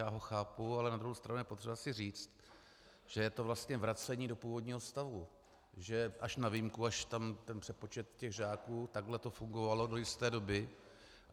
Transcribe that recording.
Já ho chápu, ale na druhou stranu je potřeba si říct, že je to vlastně vracení do původního stavu, že až na výjimku, až tam ten přepočet těch žáků, takhle to fungovalo do jisté doby.